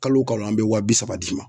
Kalo o kalo an bɛ wa bi saba d'i ma.